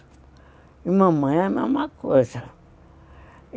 E mamãe a mesma coisa.